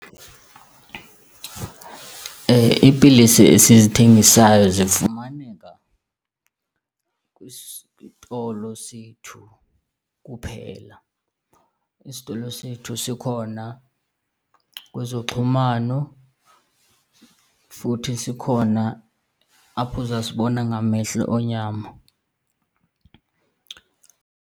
Iipilisi esizithengisayo zifumaneka kwisitolo sethu kuphela. Isitolo sethu sikhona kwezoxhumano futhi sikhona apho uzasibona ngamehlo enyama.